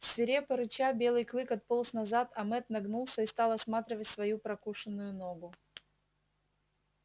свирепо рыча белый клык отполз назад а мэтт нагнулся и стал осматривать свою прокушенную ногу